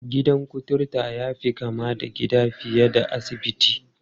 Gidan kuturta ya fi kama da gida fiye da asibiti.